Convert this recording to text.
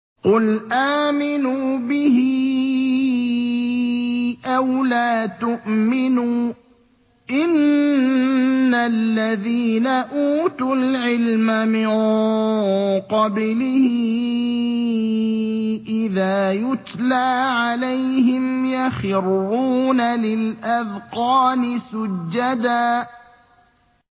قُلْ آمِنُوا بِهِ أَوْ لَا تُؤْمِنُوا ۚ إِنَّ الَّذِينَ أُوتُوا الْعِلْمَ مِن قَبْلِهِ إِذَا يُتْلَىٰ عَلَيْهِمْ يَخِرُّونَ لِلْأَذْقَانِ سُجَّدًا